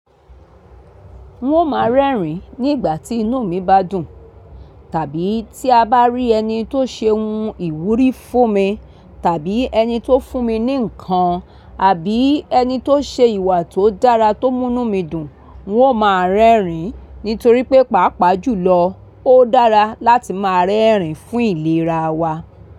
N ó máa rẹ́rìn nígbà tí inú mi bá dùn, tàbí tí a bá rí ẹni tó ṣe ohun ìwúrí fún mi, tàbí ẹni tó fún mi ní ǹkan, àbí ẹni tó ṣe ìwà tó dára tó mú inú mi dùn. N ó máa rẹ́rìn nítorí pé, pàápàá jùlọ ó dára láti máa rẹ́rìn fún ìlera wa.